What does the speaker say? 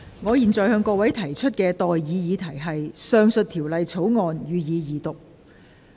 我現在向各位提出的待議議題是：《2021年電訊條例草案》，予以二讀。